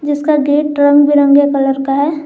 जिसका गेट रंग बिरंगे कलर का है।